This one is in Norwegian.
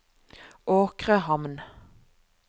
Åkrehamn